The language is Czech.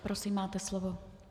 Prosím, máte slovo.